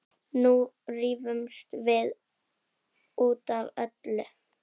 Nú rífumst við út af öllu.